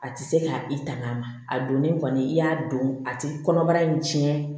A tɛ se ka i tang'a ma a donnen kɔni i y'a don a tɛ kɔnɔbara in cɛn